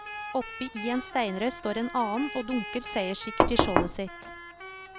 Oppe i en steinrøys står en annen, og dunker seierssikkert i skjoldet sitt.